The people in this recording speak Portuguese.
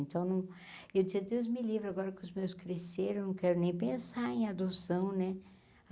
Então não, eu dizia Deus Me Livre, agora que os meus cresceram, eu não quero nem pensar em adoção, né?